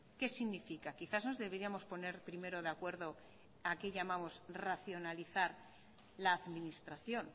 qué significa quizás nos deberíamos poner primero de acuerdo a qué llamamos racionalizar la administración